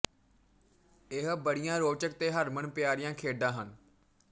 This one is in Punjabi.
ਇਹ ਬੜੀਆਂ ਰੋਚਕ ਤੇ ਹਰਮਨ ਪਿਆਰੀਆਂ ਖੇਡਾਂ ਹਨ